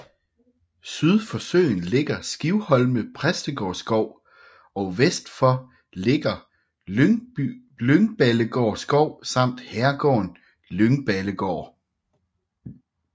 Syd for søen ligger Skivholme Præstegårdsskov og vest for ligger Lyngballegård Skov samt herregården Lyngballegård